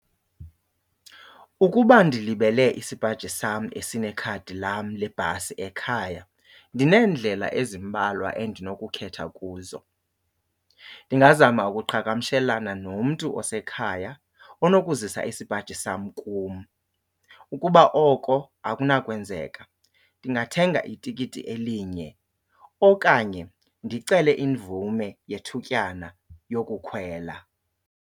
Ukuba ndilibele isipaji sam esinekhadi lam lebhasi ekhaya ndineendlela ezimbalwa endinokukhetha kuzo. Ndingazama ukuqhagamshelana nomntu osekhaya onokuzisa isipaji sam kum. Ukuba oko akunakwenzeka, ndingathenga itikiti elinye okanye ndicele imvume yethutyana yokukhwela.